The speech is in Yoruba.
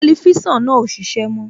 Tẹlifísàn náà kò ṣiṣẹ́ mọ́